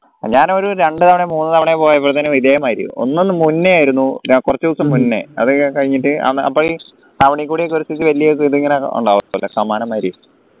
ഞാനൊരു രണ്ടുതവണയോ മൂന്നു തവണയോ പോയപ്പോൾ തന്നെ ഇതേമാരി ഒന്നൊന്നു മുന്നേ ആയിരുന്നു കുറച്ചു ദിവസോ മുന്നേ അത് കഴിഞ്ഞിട്ട് അപ്പൊ